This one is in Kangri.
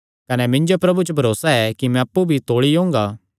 कने मिन्जो प्रभु च भरोसा ऐ कि मैं अप्पु भी तौल़ी ओंगा